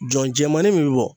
Jɔn jɛmannin min bɛ bɔ.